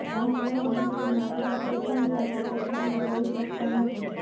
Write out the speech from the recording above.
આ મનોહર વિસ્તારમાં આરામ કંઈપણ સાથે સરખામણી કરી શકતા નથી